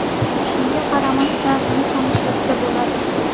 Shunga qaramasdan uni ham ishlatsa bo‘ladi.